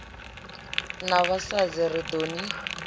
na vhasadzi ri ḓo ni